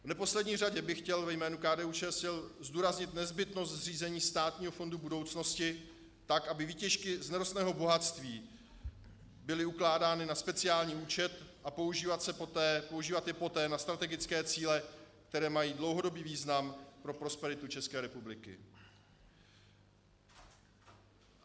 V neposlední řadě bych chtěl ve jménu KDU-ČSL zdůraznit nezbytnost zřízení státního fondu budoucnosti tak, aby výtěžky z nerostného bohatství byly ukládány na speciální účet, a používat je poté na strategické cíle, které mají dlouhodobý význam pro prosperitu České republiky.